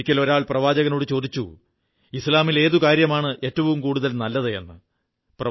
ഒരിക്കൽ ഒരാൾ പ്രവാചകനോടു ചോദിച്ചു ഇസ്ലാമിൽ ഏതു കാര്യമാണ് ഏറ്റവും നല്ലത് എന്ന്